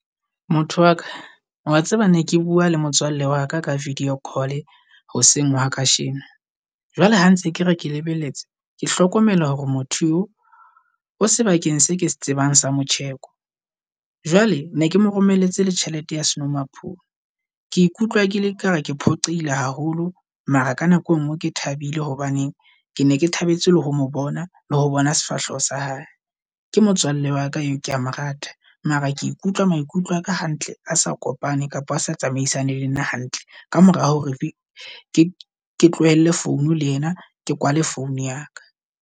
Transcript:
Motho wa ka wa tseba ne ke bua le motswalle wa ka ka video call-e hoseng hwa kajeno. Jwale ha ntse ke re ke lebelletse ke hlokomela hore motho eo o sebakeng se ke se tsebang sa motjheko. Jwale ne ke moromelletse le tjhelete ya senomaphodi, ke ikutlwa ke le kare ke phoqehile haholo. Mara ka nako engwe ke thabile hobane ke ne ke thabetse le ho mo bona le ho bona sefahleho sa hae. Ke motswalle wa ka eo ke a morata mara ke ikutlwa maikutlo a ka hantle a sa kopane kapo a sa tsamaisane le nna hantle. Ka mora hore re ke ke tlohelle phone le yena ke kwale phone ya ka.